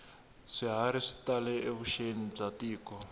swiharhi swi tale evuxeni bya tiko